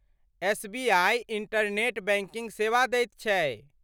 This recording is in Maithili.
एसबीआइ इंटरनेट बैंकिग सेवा दैत छै।